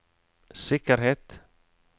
sikkerhet